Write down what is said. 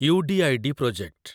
UDID project